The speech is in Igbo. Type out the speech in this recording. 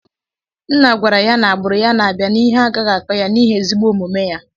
Nna gwara ya na agbaru ya na abia na ihe agaghi akọ ya niighi ezigbo omume ya.